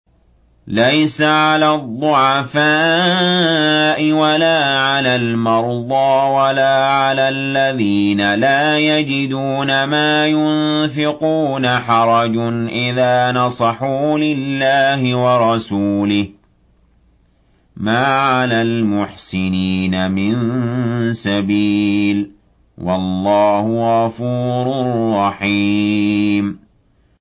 لَّيْسَ عَلَى الضُّعَفَاءِ وَلَا عَلَى الْمَرْضَىٰ وَلَا عَلَى الَّذِينَ لَا يَجِدُونَ مَا يُنفِقُونَ حَرَجٌ إِذَا نَصَحُوا لِلَّهِ وَرَسُولِهِ ۚ مَا عَلَى الْمُحْسِنِينَ مِن سَبِيلٍ ۚ وَاللَّهُ غَفُورٌ رَّحِيمٌ